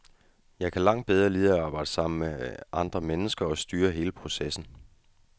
Jeg kan langt bedre lide at arbejde sammen med andre mennesker og styre hele processen.